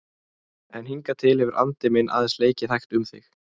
En hingað til hefur andi minn aðeins leikið hægt um þig.